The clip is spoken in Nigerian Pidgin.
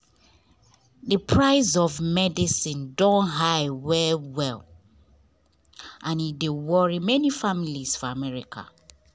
the price of medicine don high well well and e dey worry many families for america.